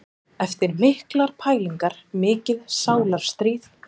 Eftir miklar pælingar, mikið sálarstríð.